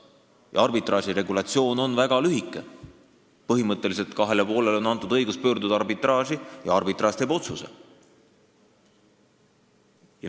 Ja arbitraaži reeglistik on väga lühike: põhimõtteliselt on kahele poolele antud õigus pöörduda arbitraaži ja arbitraaž teeb otsuse.